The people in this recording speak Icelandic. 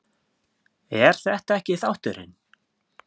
er þetta ekki þátturinn?